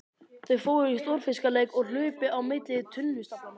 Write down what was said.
Þau fóru í stórfiskaleik og hlupu á milli tunnustaflanna.